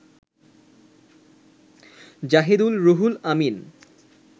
Zahidul, Ruhul Amin